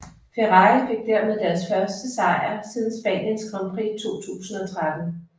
Ferrari fik dermed deres første sejr siden Spaniens Grand Prix 2013